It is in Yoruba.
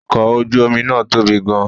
Ọkọ̀ ojú omi náà tóbi gan-an